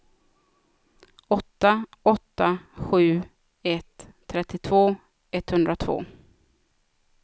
åtta åtta sju ett trettiotvå etthundratvå